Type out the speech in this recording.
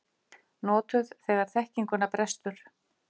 Notuð þegar þekkinguna brestur.